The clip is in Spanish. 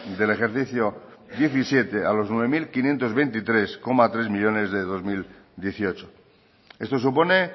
del ejercicio diecisiete a los nueve mil quinientos veintitrés coma tres millónes de dos mil dieciocho esto supone